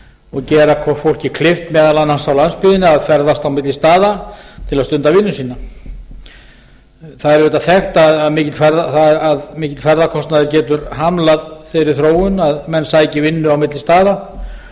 og gera fólki kleift meðal annars á landsbyggðinni að ferðast á milli staða til að stunda vinnu sína það er auðvitað þekkt að mikill ferðakostnaður getur hamlað þeirri þróun að menn sæki vinnu á milli staða